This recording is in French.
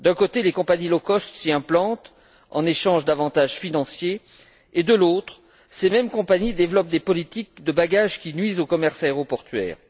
D'un côté, les compagnies low cost, s'y implantent en échange d'avantages financiers et, de l'autre, ces mêmes compagnies développent des politiques de bagages qui nuisent au commerce aéroportuaire.